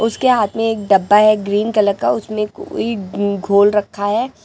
उसके हाथ में एक डब्बा है ग्रीन कलर का उसमें कोई घोल रखा है।